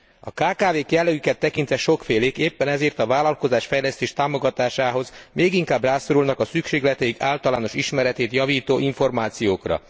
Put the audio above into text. A kkv k jellegüket tekintve sokfélék, éppen ezért a vállalkozásfejlesztés támogatásához még inkább rászorulnak a szükségleteik általános ismereteit javító információkra.